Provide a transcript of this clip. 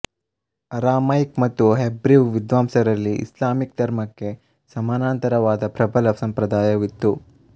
Aramaic ಮತ್ತು Hebrew ವಿದ್ವಾಂಸರಲ್ಲಿ Islamic ಧರ್ಮಕ್ಕೆ ಸಮಾನಾಂತರವಾದಪ್ರಬಲ ಸಂಪ್ರದಾಯವಿತ್ತು